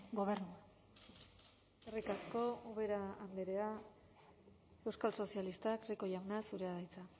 gobernua eskerrik asko ubera andrea euskal sozialistak rico jauna zurea da hitza